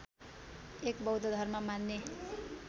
एक बौद्ध धर्म मान्ने